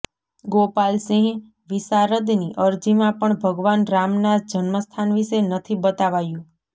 ગોપાલ સિંહ વિશારદની અરજીમાં પણ ભગવાન રામના જન્મસ્થાન વિશે નથી બતાવાયું